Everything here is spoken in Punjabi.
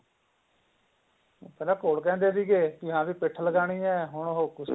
ਪਹਿਲਾਂ ਘੋਲ ਕਹਿੰਦੇ ਸੀਗੇ ਕੀ ਹਾਂ ਵੀ ਪਿਠ ਲਗਾਣੀ ਏ ਹੁਣ ਹੋਰ ਕੁਸ਼ਤੀ